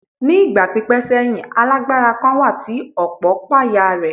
Ní ìgbà pípẹ́ sẹ́yìn, alágbára kan wà tí ọ̀pọ̀ páyà rẹ̀.